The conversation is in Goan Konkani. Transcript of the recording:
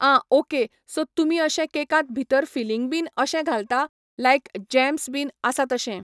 आं ऑके सो तुमी अशें कॅकांत भितर फिलींग बीन अशें घालता लायक जॅम्स बीन आसा तशें